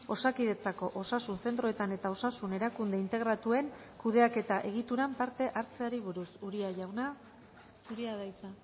osakidetzako osasun zentroetan eta osasunerakunde integratuen oei kudeaketaegituran parte hartzeari buruz uria jauna zurea da hitza